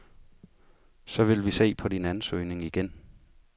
Så vil vi se på din ansøgning igen.